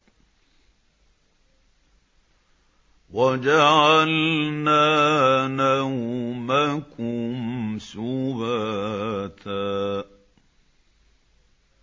وَجَعَلْنَا نَوْمَكُمْ سُبَاتًا